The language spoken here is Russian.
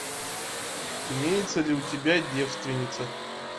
имеется ли у тебя девственница